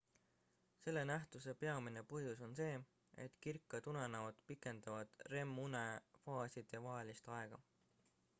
selle nähtuse peamine põhjus on see et kirkad unenäod pikendavad rem-une faaside vahelist aega